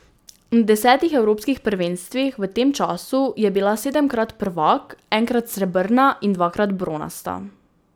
Na desetih evropskih prvenstvih v tem času je bila sedemkrat prvak, enkrat srebrna in dvakrat bronasta.